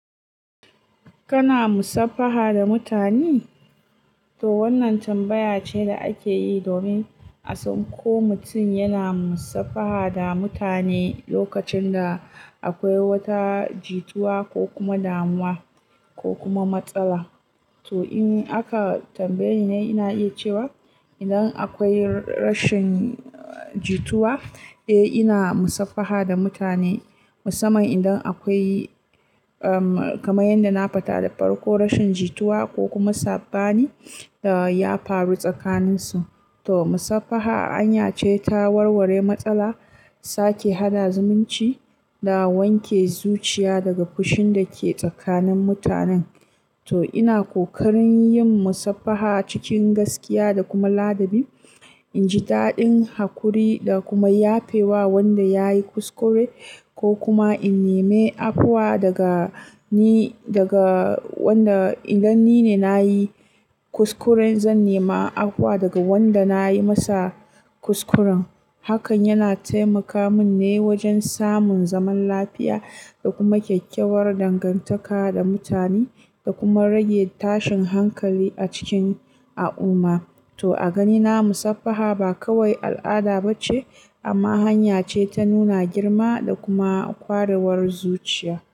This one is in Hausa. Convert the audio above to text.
Kana musafaha da mutane? To wannan tambaya ce da ake yi domin a san ko mutum yana musafaha da mutane lokacin da akwai wata jituwa ko kuma damuwa ko kuma matsala. To in aka tambaye ni, ina iya cewa idan akwai rashin jituwa, eh ina musafaha da mutane, musamman idan akwai, kamar yadda na fada da farko, rashin jituwa ko kuma saɓani ya faru tsakaninsu. To musafaha hanya ce ta warware matsala, sake haɗa zumunci da wanke zuciya daga fushin da ke tsakanin mutanen. To ina ƙoƙarin yin musafaha cikin gaskiya da kuma ladabi. In ji daɗin haƙuri da kuma yafe wa wanda ya yi kuskure ko kuma in nemi afuwa daga ni daga wanda idan ni ne na yi. Kuskure, zan nema afuwa daga wanda na yi masa kuskuren. Hakan yana taimaka min ne wajen samun zaman lafiya da kuma kyakkyawar dangantaka da mutane da kuma rage tashin hankali a cikin al'umma. To a ganina, musafaha ba kawai al'ada bace, amma hanya ce ta nuna girma da kuma kwarewar zuciya.